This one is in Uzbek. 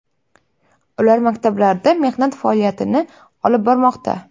Ular maktablarda mehnat faoliyatini olib bormoqda.